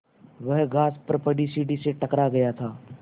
वह घास पर पड़ी सीढ़ी से टकरा गया था